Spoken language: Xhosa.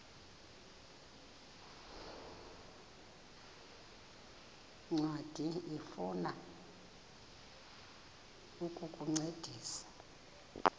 ncwadi ifuna ukukuncedisa